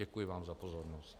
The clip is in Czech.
Děkuji vám za pozornost.